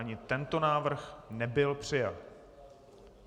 Ani tento návrh nebyl přijat.